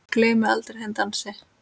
Gleymi aldrei þeim dansi.